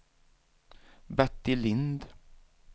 Bertil Lindh